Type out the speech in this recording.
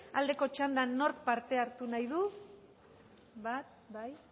aldeko txandan nork parte hartu nahi du bat bai